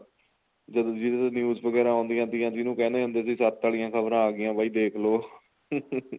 ਜਦੋਂ ਵੀ ਉੱਥੇ news ਵਗੈਰਾ ਆਉਂਦੀਆਂ ਸੀਗੀਆਂ ਜਿੰਨੂ ਕਹਿੰਦੇ ਹੁੰਦੇ ਸੀ ਸੱਤ ਵਾਲੀਆਂ ਖਬਰਾਂ ਆ ਗਈਆਂ ਬਾਈ ਦੇਖ ਲੋ